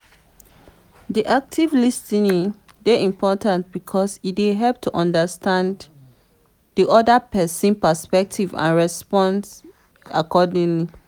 di active lis ten ing dey important because e dey help to understand di oda pesin's perspective and respond accordingly.